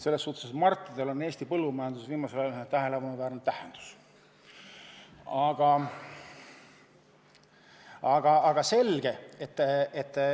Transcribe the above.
On ju Martidel olnud Eesti põllumajanduses viimasel ajal tähelepanuväärne tähendus.